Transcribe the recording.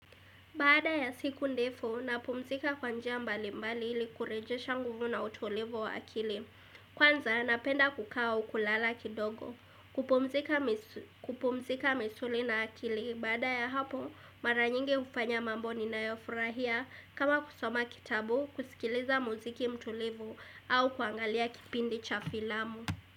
Baada ya siku ndefu, napumzika kwa njia mbali mbali ili kurejesha nguvu na utulivu wa akili. Kwanza, napenda kukaa au kulala kidogo kupumzika kupumzika misuli na akili, baada ya hapo, maranyingi hufanya mambo ninayofurahia kama kusoma kitabu, kusikiliza muziki mtulivu au kuangalia kipindi cha filamu.